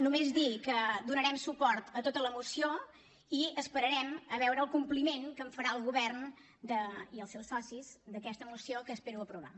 només dir que donarem suport a tota la moció i esperarem a veure el compliment que en farà el govern i els seus socis d’aquesta moció que espero que aprovem